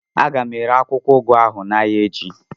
A ga m ere akwụkwọ ụgụ ahụ n'ahịa echi